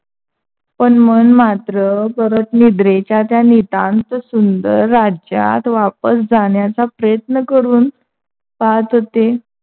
पण मन मात्र परत निद्रेच्या त्या नितांत सुंदर राज्यात वापस जाण्याचा प्रयत्न करून पाहत होते.